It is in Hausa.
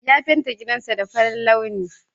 Ya fenti gidansa farin launi.